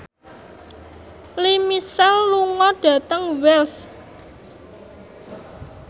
Lea Michele lunga dhateng Wells